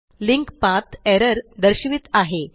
link path error दर्शवित आहे